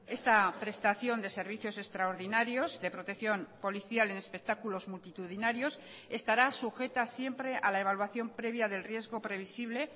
esta prestación de servicios extraordinarios de protección policial en espectáculos multitudinarios estará sujeta siempre a la evaluación previa del riesgo previsible